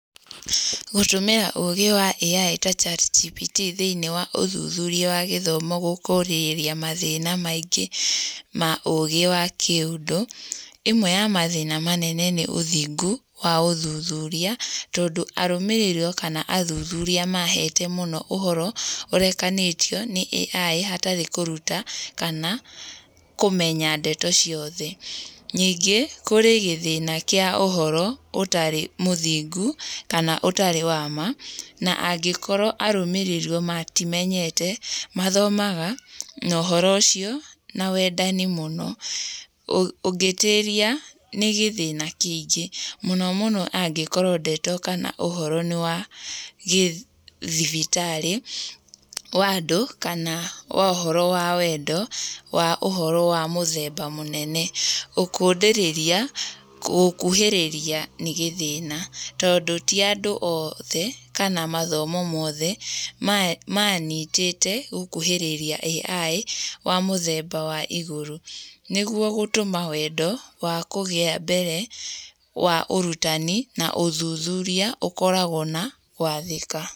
Gũtũmĩra ũgĩ wa AI ta ChatGPT thĩiniĩ wa ũthuthuria wa gĩthomo gũkũ ũrĩ mathĩna maingĩ ma ũgĩ wa kĩũndũ. Ĩmwe ya mathĩna manene nĩ ũthingu wa ũthuthuria tondũ arũmĩrĩrwo kana athuthuria mahete mũno ũhoro ũrekanĩtio nĩ AI hatarĩ kũruta kana kũmenya ndeto cioothe. Ningĩ kũrĩ gĩthina kĩa ũhoro ũtarĩ mũthingu kana ũtarĩ wa ma, na angĩkorwo arũmĩrĩrwo matimenyete, mathomaga na ũhoro ũcio na wendani mũno ũngĩtuĩria nĩ gĩthĩna kĩingĩ, mũno mũno angĩkorwo ndeto kana ũhoro nĩwa gĩthibitarĩ wa andũ kana wa ũhoro wa wendo, wa ũhoro wa mũthemba mũnene, gũkũndĩrĩria gũkuhĩrĩria nĩ gĩthĩna tondũ ti andũ oothe kana mathomo mothe manyitĩte gũkuhĩrĩria AI wa mũthemba wa igũrũ nĩguo gũtũma wendo wa kũgĩa mbere wa ũrutani na ũthuthuria ũkoragwo na gwathĩka.